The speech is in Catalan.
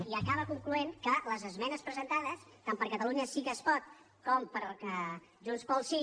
i acaba concloent que les esmenes presentades tant per catalunya sí que es pot com per junts pel sí